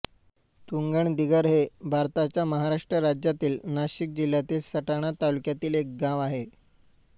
तुंगणदिगर हे भारताच्या महाराष्ट्र राज्यातील नाशिक जिल्ह्यातील सटाणा तालुक्यातील एक गाव आहे